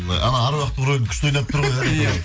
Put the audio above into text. ы әруақтың рөлін күшті ойнап тұр ғой иә иә